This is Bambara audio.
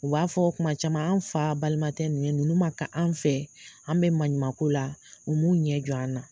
U b'a fɔ o kuma caman an fa balima tɛ ninnu ye ninnu ye man ka an fɛ an bɛ maɲumanko la u m'u ɲɛ jo an na.